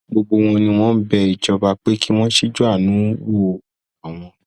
gbogbo wọn ni wọn ń bẹ ìjọba pé kí wọn ṣíjúàánú wo àwọn